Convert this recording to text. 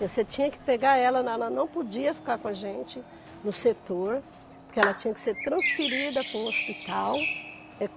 Você tinha que pegar ela, na ala, não podia ficar com a gente no setor, porque ela tinha que ser transferida para um hospital.